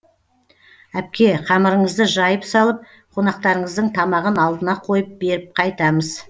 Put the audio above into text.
әпке қамырыңызды жайып салып қонақтарыңыздың тамағын алдына қойып беріп қайтамыз